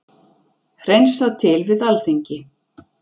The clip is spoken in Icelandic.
Hreinsað til við Alþingi